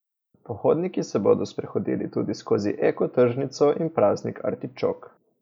Pohodniki se bodo sprehodili tudi skozi Eko tržnico in Praznik artičok.